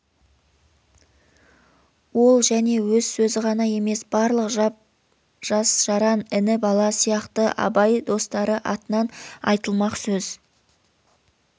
ол және өз сөзі ғана емес барлық жас-жаран іні-бала сияқты абай достары атынан айтылмақ сөз